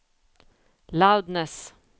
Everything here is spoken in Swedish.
loudness